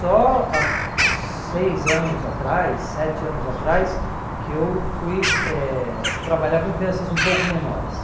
Só há seis anos atrás, sete anos atrás, que eu fui eh trabalhar com crianças um pouco menores.